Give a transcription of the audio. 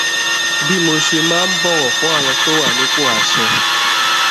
bí mo ṣe máa ń bọwọ fún àwọn tó wà nípò àṣẹ